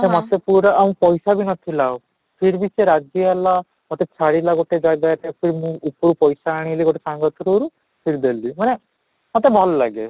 ତ ମୋତେ ପୁରା ଆଉ ପଇସା ବି ନ ଥିଲା ଆଉ ସେ ରାଜି ହେଲା, ମୋତେ ଛାଡିଲା ଗୋଟେ ଜାଗାରେ ମୁଁ ଉପରୁ ପଇସା ଆଣିଲି ଗୋଟେ ସାଙ୍ଗ through ରୁ ଦେଲି ମାନେ ମୋତେ ଭଲ ଲାଗେ